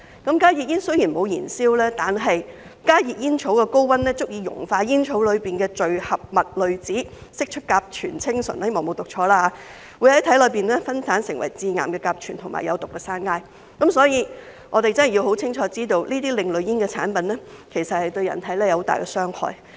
加熱煙雖然沒有燃燒，但加熱煙草的高溫足以熔化煙草裏的聚合物濾紙，釋出甲醛氰醇——希望沒有讀錯——會在體內分解成致癌的甲醛和有毒的山埃，所以我們真的要很清楚知道這些另類煙產品其實對人體有很大的傷害。